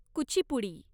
Kuchipudi